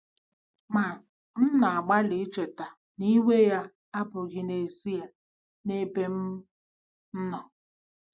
Ma m na-agbalị icheta na iwe ya abụghị n'ezie n'ebe m nọ.